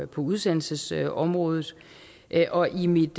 på udsendelsesområdet og i mit